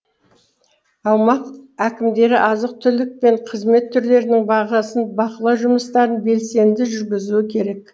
аумақ әкімдері азық түлік пен қызмет түрлерінің бағасын бақылау жұмыстарын белсенді жүргізуі керек